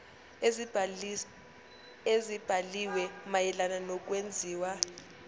ezibhaliwe mayelana nokwenziwa